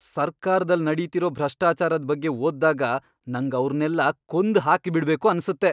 ಸರ್ಕಾರ್ದಲ್ಲ್ ನಡೀತಿರೋ ಭ್ರಷ್ಟಾಚಾರದ್ ಬಗ್ಗೆ ಓದ್ದಾಗ ನಂಗವ್ರ್ನೆಲ್ಲ ಕೊಂದ್ ಹಾಕ್ಬಿಡ್ಬೇಕು ಅನ್ಸತ್ತೆ.